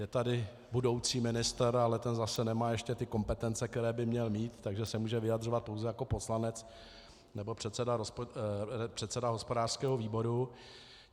Je tady budoucí ministr, ale ten zase nemá ještě ty kompetence, které by měl mít, takže se může vyjadřovat pouze jako poslanec nebo předseda hospodářského výboru.